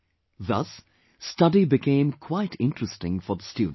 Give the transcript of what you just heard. Thus, studies became quite interesting for the students